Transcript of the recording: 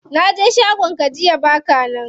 Naje shagon ka jiya baka nan.